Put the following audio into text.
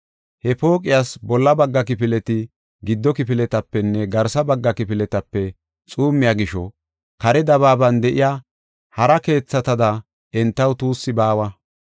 He pooqiyas bolla bagga kifileti gido kifiletapenne garsa bagga kifiletape xuummiya gisho, kare dabaaban de7iya hara keethatada entaw tuussi baawa.